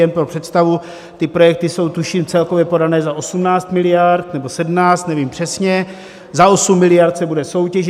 Jen pro představu, ty projekty jsou, tuším, celkově podané za 18 miliard, nebo 17, nevím přesně, za 8 miliard se bude soutěžit.